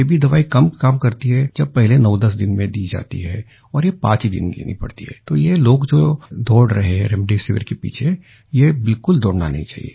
ये भी दवाई कब काम करती है जब पहले 910 दिन में दी जाती है और ये पाँच ही दिन देनी पड़ती है तो ये लोग जो दौड़ रहे हैं रेमडेसिविर के पीछे ये बिलकुल दौड़ना नहीं चाहिए